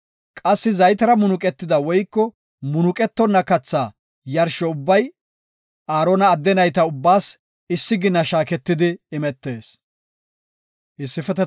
Qassi zaytera munuqetida woyko munuqetonna katha yarsho ubbay Aarona adde nayta ubbaas issi gina shaaketidi imetees.